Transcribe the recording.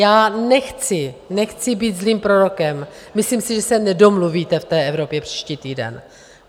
Já nechci, nechci být zlým prorokem, myslím si, že se nedomluvíte v té Evropě příští týden.